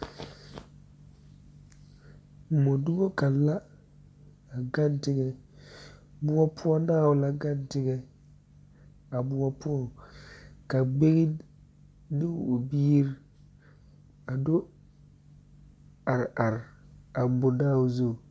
Mɔdoŋa kaŋa la a gaŋ teŋa moɔ poɔ daao la gaŋ teŋa a moɔ poɔŋ ka gbeŋ ne biiri a do are are a mɔdaao zu